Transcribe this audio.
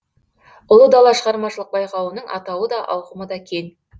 ұлы дала шығармашылық байқауының атауы да ауқымы да кең